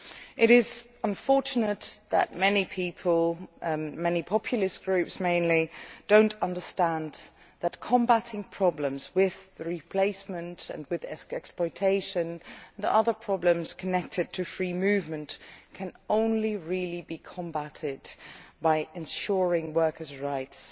It is unfortunate that many people many populist groups mainly do not understand that problems with replacement and exploitation and the other problems connected to free movement can only really be combated by ensuring workers' rights,